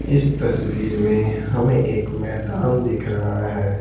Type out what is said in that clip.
इस तस्वीर में हमें एक मैदान दिख रहा है।